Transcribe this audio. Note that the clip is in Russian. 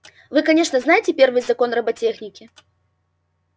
вы конечно знаете первый закон роботехники